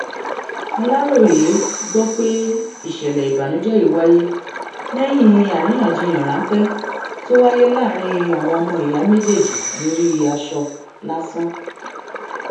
aláròye gbọ pé ìṣẹlẹ ìbànújẹ yìí wáyé lẹyìn àríyànjiyàn ráńpẹ tó wáyé láàrin àwọn ọmọ ìyá méjèèjì lórí aṣọ lásán